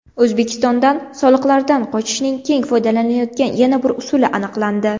O‘zbekistondan soliqlardan qochishning keng foydalanilayotgan yana bir usuli aniqlandi.